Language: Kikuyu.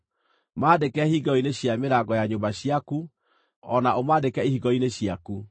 Maandĩke hingĩro-inĩ cia mĩrango ya nyũmba ciaku, o na ũmaandĩke ihingo-inĩ ciaku.